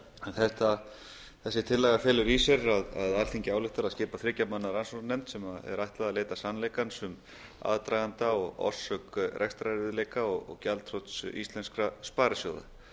verið kölluð þessi tillaga felur í sér að alþingi ályktar að skipa þriggja manna rannsóknarnefnd sem er ætlað að leita sannleikans um aðdraganda og orsök rekstrarerfiðleika og gjaldþrots íslenskra sparisjóða